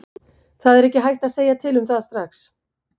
Það er ekki hægt að segja til um það strax.